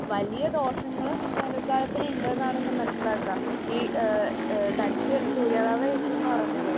വലിയ ദോഷങ്ങള് വേനൽക്കാലത്തിന് ഉണ്ട് എന്നാണ് ഞാൻ മനസിലാക്കാ. ഈ ആ ആ തനിക്ക് സൂര്യതാപം ഏറ്റു എന്ന് പറഞ്ഞല്ലോ?